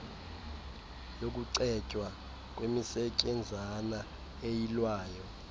yokucetywa kwemisetyenzana eyilwayo